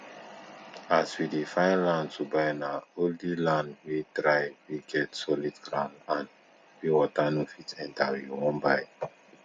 as we dey find land to buy na only land wey dry wey get solid ground and wey water no fit enter we won buy